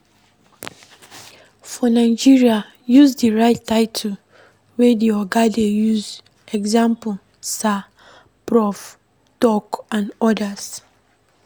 For Nigeria, use di right title wey di oga dey use eg sir, prof, doc and odas